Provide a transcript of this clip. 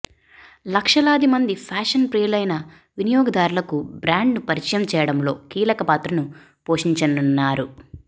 లక్షలాది మంది ఫ్యాషన్ ప్రియులైన వినియోగదారులకు బ్రాండ్ను పరిచయం చేయడంలో కీలక పాత్రను పోషించనున్నారు